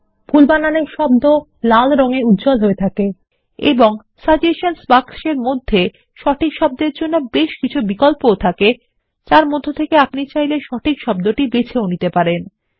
ভুল বানানের শব্দকেলাল দিয়ে উজ্জ্বল হয়ে থাকে এবং Suggestionsবাক্সের মধ্যেসঠিক শব্দের জন্য বেশ কিছু বিকল্পথাকে যার মধ্য থেকে আপনি সঠিক শব্দটি বেছে নিতে পারেন